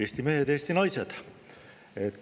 Eesti mehed ja Eesti naised!